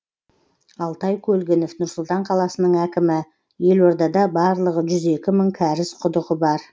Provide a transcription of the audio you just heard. алтай көлгінов нұр сұлтан қаласының әкімі елордада барлығы жүз екі мың кәріз құдығы бар